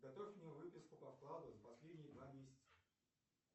готовь мне выписку по вкладу за последние два месяца